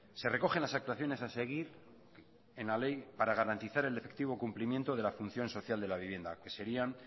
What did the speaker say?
se recogen las actuaciones a seguir en la ley para garantizar el efectivo cumplimiento de la función social de la vivienda que serían